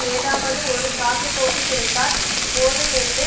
ஏதாவது ஒரு சாக்கு போக்கு கிடைத்தால் போதும் என்று